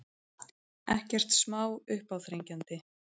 Við hræðum þá svo rækilega að þeir þori aldrei aftur að koma nálægt okkur.